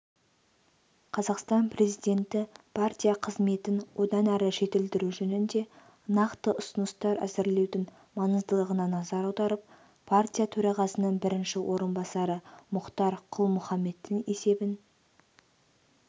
қазақстан президенті партия қызметін одан әрі жетілдіру жөнінде нақты ұсыныстар әзірлеудің маңыздылығына назар аударып партия төрағасының бірінші орынбасары мұхтар құл-мұхаммедтің есебін